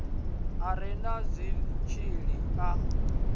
a re na zwitshili a